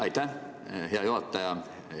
Aitäh, hea juhataja!